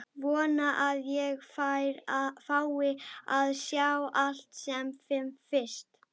Vona að ég fái að sjá það sem fyrst.